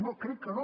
no crec que no